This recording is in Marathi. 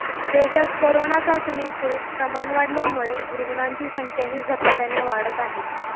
देशात करोना चाचणीचे प्रमाण वाढल्यामुळे रुग्णांची संख्याही झपाट्याने वाढत आहे